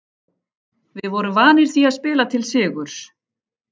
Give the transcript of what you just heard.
Við vorum vanir því að spila til sigurs.